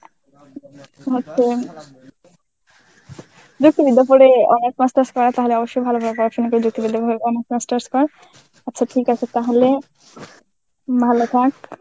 দেখিনি দুপুরে অনেক master's করা তাহলে অবশ্যই ভালোভাবে অপারেশন করে আচ্ছা ঠিক আছে তাহলে ভালো থাক.